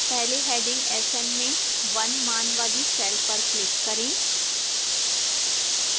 पहले heading sn में 1 मान वाली cell पर click करें